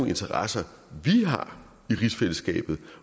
interesser vi har i rigsfællesskabet